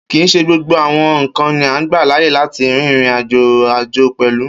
Kii ṣe gbógbó àwọn nkán ni a gbà láàyè láti rìn ìrìn-àjò pẹlú.